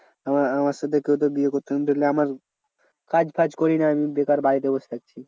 আমার আমার সাথে কেউ তো বিয়ে করতো না ধরলে আমার কাজ ফাজ করিনা বেকার বাড়িতে বস থাকছি।